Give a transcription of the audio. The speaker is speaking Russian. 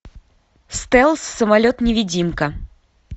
стелс самолет невидимка